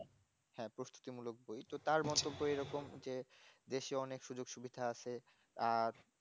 হ্যাঁ প্রস্তুতি মূলক বই তো তার ভাষাতে এরকম যে বেশি অনেক সুযোগ-সুবিধা আছে আর